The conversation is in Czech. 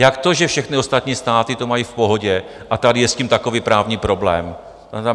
Jak to, že všechny ostatní státy to mají v pohodě a tady je s tím takový právní problém?